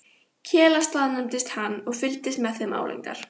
Kela staðnæmdist hann og fylgdist með þeim álengdar.